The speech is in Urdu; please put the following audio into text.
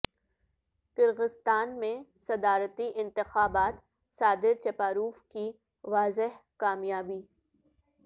کرغستان میں صدارتی انتخابات صادر چپاروف کی واضح کامیابی